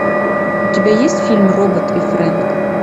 у тебя есть фильм робот и фрэнк